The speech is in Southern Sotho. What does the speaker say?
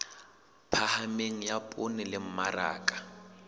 phahameng ya poone le mmaraka